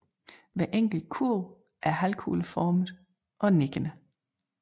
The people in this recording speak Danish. Hver enkelt kurv er halvkugleformet og nikkende